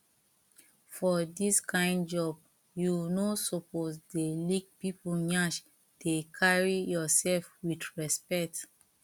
for dis kyn job you no suppose dey lick people nyash dey carry yourself with respect